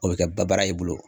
O bɛ kɛ ba baara ye i bolo .